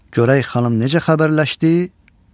Görək xanım necə xəbərləşdi?